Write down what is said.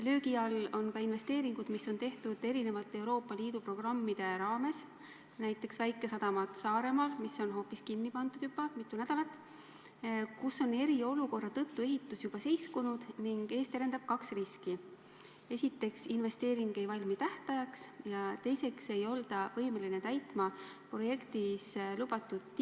Löögi all on ka investeeringud, mis on tehtud erinevate Euroopa Liidu programmide raames, näiteks väikesadamad Saaremaal, mis on juba mitu nädalat tagasi kinni pandud, kus on eriolukorra tõttu ehitus juba seiskunud ning ees terendavad kaks riski: esiteks, objekt ei valmi tähtajaks, ja teiseks ei olda võimelised täitma projektis lubatut.